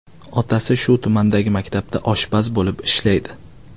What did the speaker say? Otasi shu tumandagi maktabda oshpaz bo‘lib ishlaydi.